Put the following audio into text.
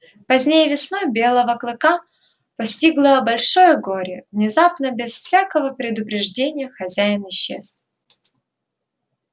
поздней весной белого клыка постигло большое горе внезапно без всякого предупреждения хозяин исчез